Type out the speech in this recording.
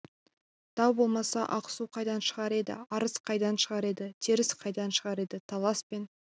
тау болмаса ақсу қайдан шығар еді арыс қайдан шығар еді теріс қайдан шығар еді талас пен